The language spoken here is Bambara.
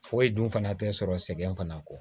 Foyi dun fana tɛ sɔrɔ sɛgɛn fana kɔ